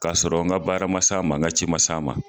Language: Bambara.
Ka sɔrɔ nka baara mas'a ma, n ka cj mas' a ma.